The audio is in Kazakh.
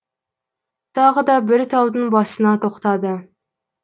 тағы да бір таудың басына тоқтады